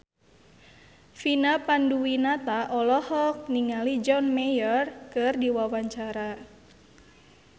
Vina Panduwinata olohok ningali John Mayer keur diwawancara